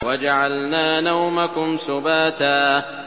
وَجَعَلْنَا نَوْمَكُمْ سُبَاتًا